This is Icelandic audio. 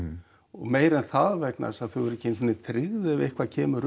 meira en það vegna þess að þau eru ekki einu sinni tryggð ef eitthvað kemur